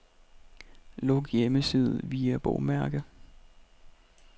Luk hjemmeside via bogmærke.